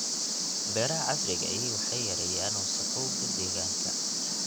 Beeraha casriga ahi waxay yareeyaan wasakhowga deegaanka.